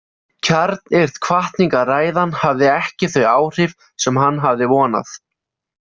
Kjarnyrt hvatningarræðan hafði ekki þau áhrif sem hann hafði vonað.